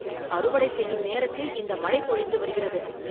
அறுவடை செய்யும் நேரத்தில் இந்த மழை பொழிந்து வருகிறது.